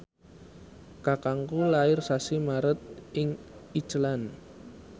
kakangku lair sasi Maret ing Iceland